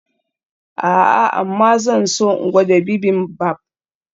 A'a amma zan so in gwada bibimbap.